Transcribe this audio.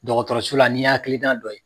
Dɔgɔtɔrɔsu la n'i' hakili nan dɔ ye.